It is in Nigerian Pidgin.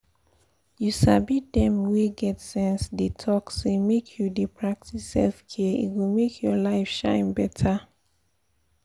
you sabi dem wey get sense dey talk say make you dey practice self-care e go make your life shine better.